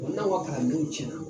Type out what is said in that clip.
N'anw ka kalan minɛnw cɛnna